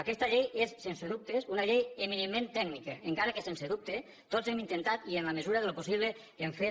aquesta llei és sense dubtes una llei eminentment tècnica encara que sense dubte tots hem intentat i en la mesura del possible ho hem fet